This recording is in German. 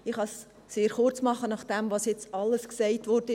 Ich kann es sehr kurzmachen, nachdem was jetzt alles gesagt wurde.